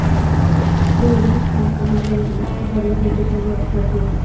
Bu yerda hech qanday qonunbuzarlik yoki salbiy holat yo‘q.